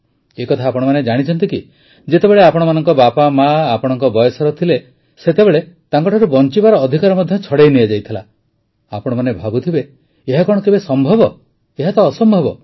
ଏ କଥା ଆପଣମାନେ ଜାଣିଛନ୍ତି କି ଯେତେବେଳେ ଆପଣମାନଙ୍କ ବାପାମା ଆପଣଙ୍କ ବୟସର ଥିଲେ ସେତେବେଳେ ତାଙ୍କଠାରୁ ବଂଚିବାର ଅଧିକାର ମଧ୍ୟ ଛଡ଼ାଇ ନିଆଯାଇଥିଲା ଆପଣମାନେ ଭାବୁଥିବେ ଏହା କଣ କେବେ ସମ୍ଭବ ଏହା ତ ଅସମ୍ଭବ